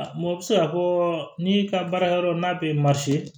u bɛ se k'a fɔ n'i ka baara yɔrɔ n'a bɛ